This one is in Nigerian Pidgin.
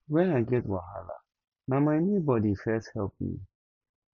wen i get wahala na my nebor dey first help me